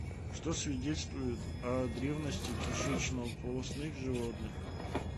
что свидетельствует о древности кишечнополостных животных